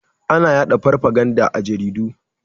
Ana ya da farfaganda a jaridu.